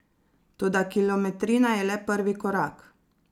Toda kilometrina je le prvi korak.